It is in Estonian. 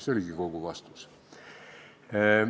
" See oligi kogu vastus.